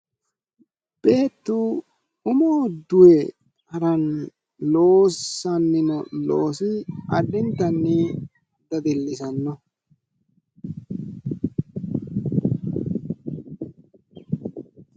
Beettu umoho duhe haranni loosanni noo loosi addintanni dadilisanno.